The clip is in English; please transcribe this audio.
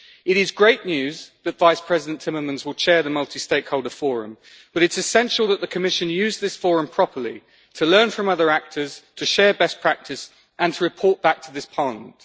It is great news that Vice President Timmermans will chair the multi stakeholder forum, but it is essential that the Commission use this forum properly to learn from other actors, to share best practice and to report back to this Parliament.